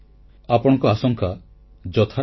ଆପଣଙ୍କ ଆଶଙ୍କା ଯଥାର୍ଥ